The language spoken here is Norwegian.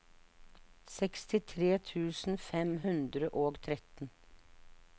sekstitre tusen fem hundre og tretten